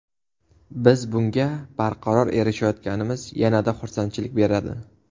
Biz bunga barqaror erishayotganimiz yana-da xursandchilik beradi.